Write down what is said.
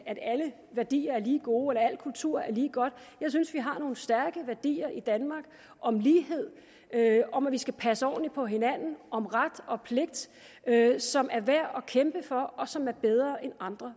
at alle værdier er lige gode eller al kultur er lige godt jeg synes at vi har nogle stærke værdier i danmark om lighed om at vi skal passe ordentligt på hinanden om ret og pligt som er værd at kæmpe for og som er bedre end andre